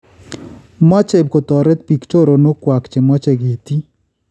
Maache kotoreet biik choronookwak chemoche ketiy